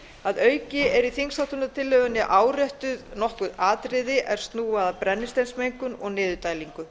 að auki er í þingsályktunartillögunni áréttuð nokkur atriði er snúa að brennisteinsmengun og niðurdælingu